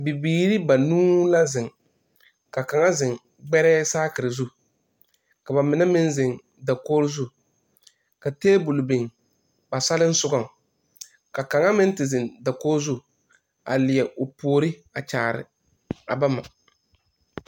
Bibiiri banuu la zeŋ ka kaŋa zeŋ gbɛrɛɛ saakere zu ka ba mine meŋ zeŋ dakoge zu ka tabol biŋ ba salensogaŋ ka kaŋa meŋ te zeŋ dakogi zu a leɛ o puori a kyaare a bama.